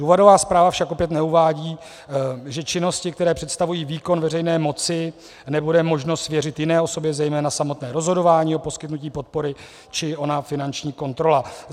Důvodová zpráva však opět neuvádí, že činnosti, které představují výkon veřejné moci, nebude možno svěřit jiné osobě, zejména samotné rozhodování o poskytnutí podpory či ona finanční kontrola.